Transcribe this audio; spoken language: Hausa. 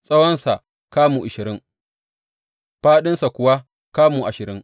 Tsawonsa kamu ashirin, fāɗinsa kuwa kamu ashirin.